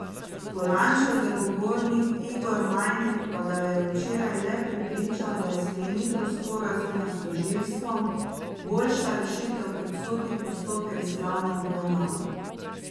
Polančev zagovornik Igor Majnik pa ga je včeraj le prepričal, da je sklenitev sporazuma s tožilstvom boljša rešitev kot sodni postopek z glavno obravnavo.